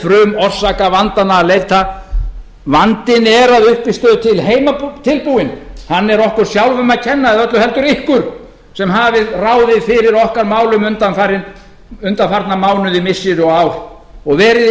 frumorsakavandanna að leita vandinn er að uppistöðu til heimatilbúinn hann er okkur sjálfum að kenna eða öllu heldur ykkur sem hafið ráðið fyrir okkar málum undanfarna mánuði missiri og ár og verið þið